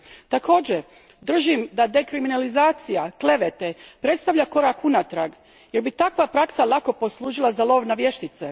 Također držim da dekriminalizacija klevete predstavlja korak unatrag jer bi takva praksa lako poslužila za lov na vještice.